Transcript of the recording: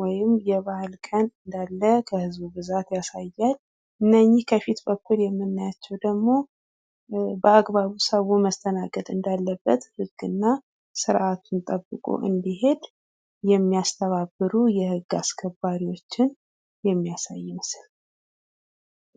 ወይም የባህል ቀን እንዳለ የህዝቡ ብዛት ያሳያል። እነኝህ ከፊት በኩል የምናያቸው ደግሞ በአግባቡ ሰው መስተናገድ እንዳለበት ህግና ስርዓቱን ጠብቆ እንዲሄድ የሚያስተባብሩ የህግ አስከባሪዎችን የሚያሳይ ምስል ነው።